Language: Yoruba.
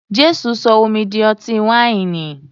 Jésù sọ omi di ọtí wáìnì.